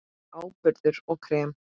Áburður og krem